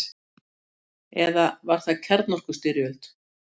Eða var það kjarnorkustyrjöld?